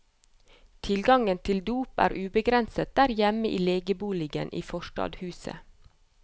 Tilgangen til dop er ubegrenset der hjemme i legeboligen i forstadshuset.